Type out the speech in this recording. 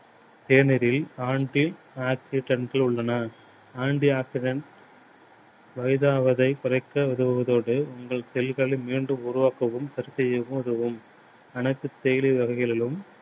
தேநீரில் anti oxidants உள்ளன. anti oxidants வயதாவதை குறைக்க உதவுவதோடு உங்கள் செல்களை மீண்டும் உருவாக்கவும் சரி செய்யவும் உதவும். அனைத்து தேயிலை வகைகளிலும்